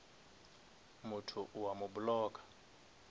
motho o a mo blocka